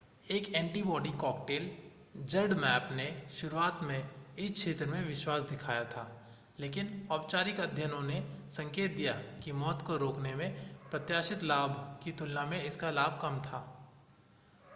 एक antibody cocktail zmapp ने शुरुआत में इस क्षेत्र में विश्वास दिखाया था लेकिन औपचारिक अध्ययनों ने संकेत दिया कि मौत को रोकने में प्रत्याशित लाभ की तुलना में इसका लाभ कम था